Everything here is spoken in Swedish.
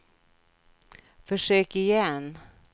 försök igen